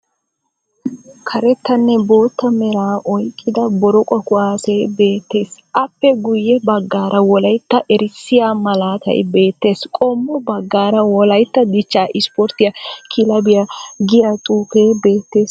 Karettanne bootta meraa oyikkida boroqo kuwaasee beettes. Aappe guyye baggaara wolayitta erissiya malaatay beettes. Qommo baggaara "wolayitta dichcha isiporttiya kileebiya" giya xuufee beettes